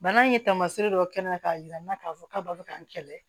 Bana in ye taamasiyɛn dɔ kɛ n na k'a jira n na k'a fɔ k'a b'a bɛ ka n kɛlɛ